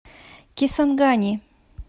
кисангани